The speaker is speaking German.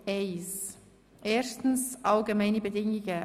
I. 1. Allgemeine Bedingungen